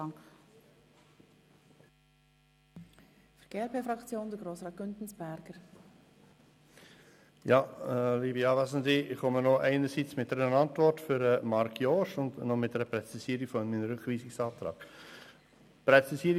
Ich komme einerseits mit einer Antwort an Marc Jost und andererseits mit einer Präzisierung meines Rückweisungsantrags.